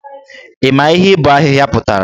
Ị ma ihe ibọ ahịhịa pụtara?